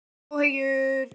Hef ég áhyggjur?